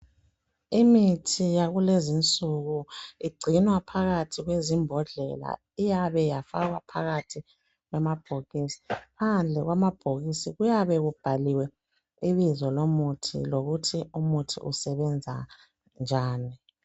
Imithi yakulezinsuku igcinwa phakathi kwezimbodlela iyabe ifakwe phakathi kwamabhokisi. Phandle kwamabhokisi kuyabe kubhaliwe ibizo lomuthi lokuthi umuthi usebenza njani.